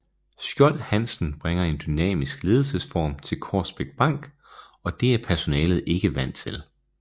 Skjold Hansen bringer en dynamisk ledelsesform til Korsbæk Bank og det er personalet ikke er vant til